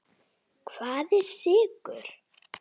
Hvað eru sykrur?